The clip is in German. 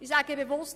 Ich sage bewusst: